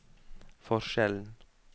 forskjellen